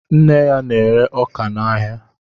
Nne ya na-ere ọkà n'áhiá